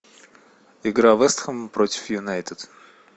игра вест хэм против юнайтед